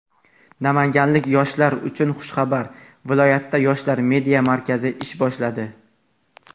Namanganlik yoshlar uchun xushxabar: viloyatda "Yoshlar media markazi" ish boshladi!.